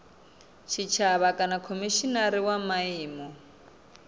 tshitshavha kana khomishinari wa miano